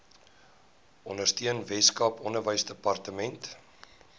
ondersteuning weskaap onderwysdepartement